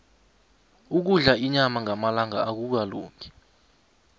ukudla inyama ngamalanga akukalungi